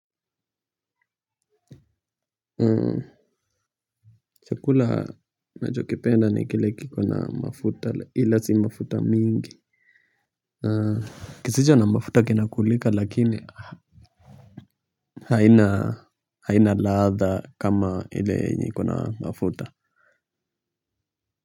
Chukula nachokipenda nikile kiko na mafuta ila si mafuta mingi. Kisicho na mafuta kinakulika lakini haina haina ladha kama ile yenye ina mafuta.